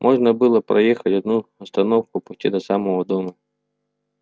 можно было проехать одну остановку почти до самого дома